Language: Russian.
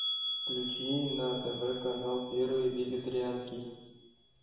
включи на тв канал первый вегетарианский